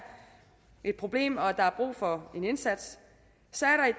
et problem og at der er brug for en indsats så